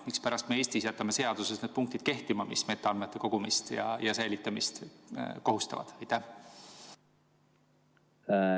Mispärast me Eestis jätame seaduses need punktid kehtima, mis metaandmeid koguma ja säilitama kohustavad?